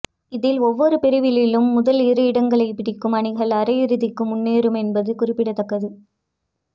இதில் ஒவ்வொரு பிரிவிலும் முதல் இரு இடங்களைப் பிடிக்கும் அணிகள் அரையிறுதிக்கு முன்னேறும் என்பது குறிப்பிடத்தக்கது